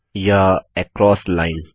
या across line